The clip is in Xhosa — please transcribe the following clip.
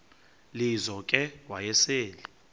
lizo ke wayesel